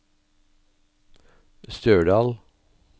Stjørdal